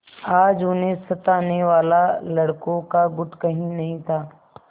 आज उन्हें सताने वाला लड़कों का गुट कहीं नहीं था